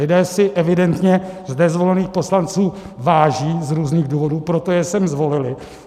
Lidé si evidentně zde zvolených poslanců váží z různých důvodů, proto je sem zvolili.